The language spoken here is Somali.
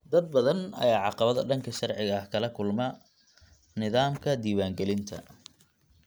Dad badan ayaa caqabado dhanka sharciga ah kala kulma nidaamka diiwaangelinta.